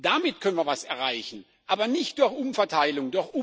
Damit können wir etwas erreichen, aber nicht durch Umverteilung.